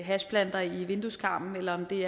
hashplanter i vindueskarmen eller om det